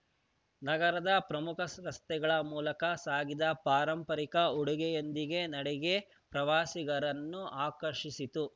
ನಗರದ ಪ್ರಮುಖ ರ ರಸ್ತೆಗಳ ಮೂಲಕ ಸಾಗಿದ ಪಾರಂಪರಿಕ ಉಡುಗೆಯೊಂದಿಗೆ ನಡಿಗೆ ಪ್ರವಾಸಿಗರನ್ನು ಆಕರ್ಷಿಸಿತು